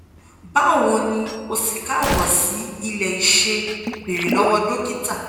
bawo ni o si kaabo si ilẹ ise "beere lowo dokita